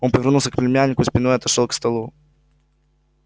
он повернулся к племяннику спиной и отошёл к столу